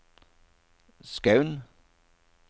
Skaun